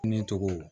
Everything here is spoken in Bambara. Ne tɔgɔ